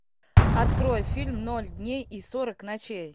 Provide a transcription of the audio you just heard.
открой фильм ноль дней и сорок ночей